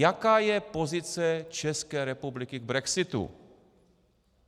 Jaká je pozice České republiky k brexitu?